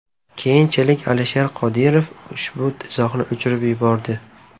Keyinchalik Alisher Qodirov ushbu izohni o‘chirib yubordi.